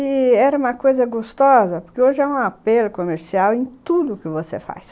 E era uma coisa gostosa, porque hoje é um apelo comercial em tudo que você faz.